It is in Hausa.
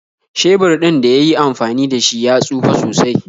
Shebir ɗin da yi yi amfani da shi ya tsufe sosai.